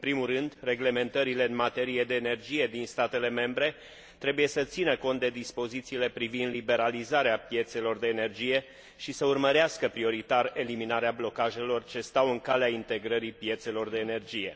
În primul rând, reglementările în materie de energie din statele membre trebuie să țină cont de dispozițiile privind liberalizarea piețelor de energie și să urmărească, prioritar, eliminarea blocajelor ce stau în calea integrării piețelor de energie.